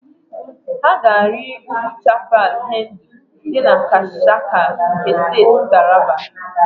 Ha ga-arị ugwu Chapal Hendu dị na Gashaka nke Steeti Taraba.